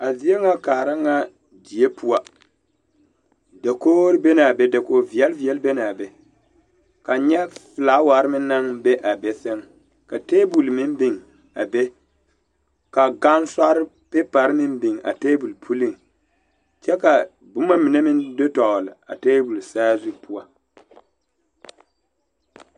A zie ŋa kaara ŋa die poɔ dakogro be la a be dakogiveɛle veɛle be l,a be kaŋ nyɛ filawari meŋ naŋ be a be seŋ ka tabol meŋ biŋ a be ka gansɔre pepari meŋ biŋ a tabol puliŋ kyɛ ka boma mine meŋ do dɔgle a tabol saazu poɔ.